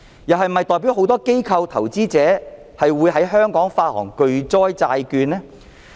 是否代表很多機構、投資者會在香港發行巨災債券？